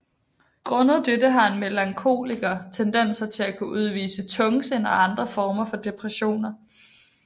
Grundet dette har en melankoliker tendenser til at kunne udvikle tungsind og andre former for depressioner